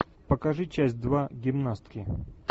покажи часть два гимнастки